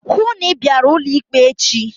Hụụ na Ị bịara ụlọ ikpe echi!